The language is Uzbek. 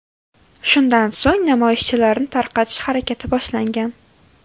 Shundan so‘ng namoyishchilarni tarqatish harakati boshlangan.